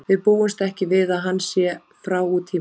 Við búumst ekki við að hann sé frá út tímabilið.